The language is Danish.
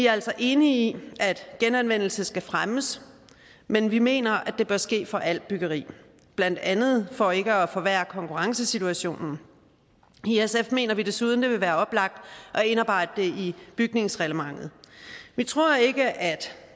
er altså enige i at genanvendelse skal fremmes men vi mener at det bør ske for alt byggeri blandt andet for ikke at forværre konkurrencesituationen i sf mener vi desuden at det vil være oplagt at indarbejde det i bygningsreglementet vi tror ikke at